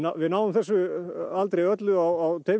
við náum þessu aldrei öllu á tveimur